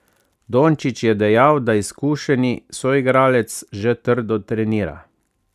Dončić je dejal, da izkušeni soigralec že trdo trenira.